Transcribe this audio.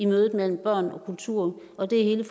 mødet mellem børn og kultur og det er hele